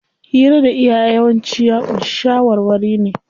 Hira da iyaye yawanci ya ƙunshi shawarwari ne.